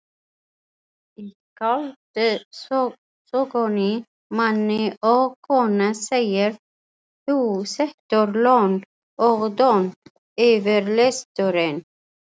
Í skáldsögunni Manni og konu segir: þú situr lon og don yfir lestrinum.